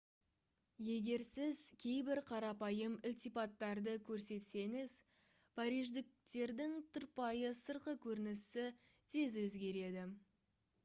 егер сіз кейбір қарапайым ілтипаттарды көрсетсеңіз париждіктердің тұрпайы сыртқы көрінісі тез өзгереді